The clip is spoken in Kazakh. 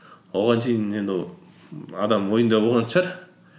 оған дейін енді адам ойында болған шығар